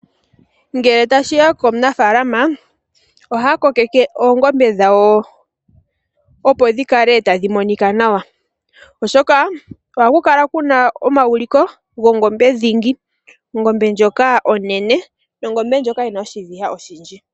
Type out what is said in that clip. Ngele tashiya komunafaalama ohaya kokeke oongombe dhawo dhi kale monika nawa, oshoka ohaku kala kuna omauliko gongombe dhingi ongombe ndjoka onene noyina oshiviha oshindji.